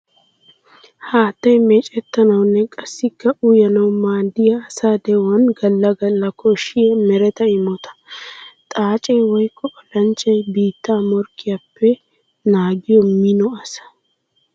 Haattay meecettanawunne qassikka uyanawu maadiya asa de'uwan gala gala koshiya meretta imotta. Xaace woykko olanchchay biitta morkkiyappe naagiya mino asaa.